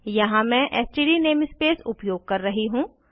यहाँ मैं STD namespace उपयोग कर रही हूँ